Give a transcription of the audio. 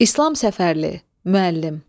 İslam Səfərli, Müəllim.